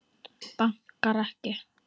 Bankar ekki.